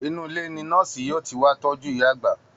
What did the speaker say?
Inú ilé ni nọ́ọ̀sì yóò ti wá tọ́jú ìyá àgbà